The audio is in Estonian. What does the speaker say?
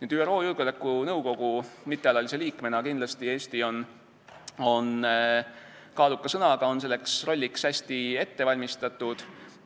ÜRO Julgeolekunõukogu mittealalise liikmena on Eesti kindlasti kaaluka sõnaga, ta on selleks rolliks hästi ette valmistatud.